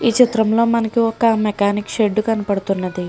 ఈ చిత్రంలో మనకి ఒక మెకానిక్ షెడ్ కనబడుతుంది.